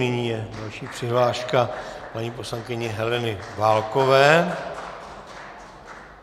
Nyní je další přihláška paní poslankyně Heleny Válkové.